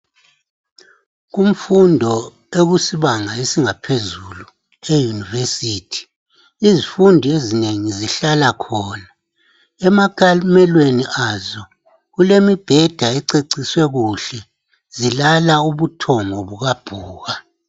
Kumfundo ekusibanga sangaphezulu e University izifundi ezinengi zihlala khona. Emakhalimelweni azo kulemibheda ececiswe kuhle zilala ubuthongo bukabhuka.